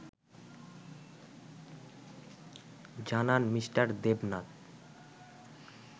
জানান মি. দেবনাথ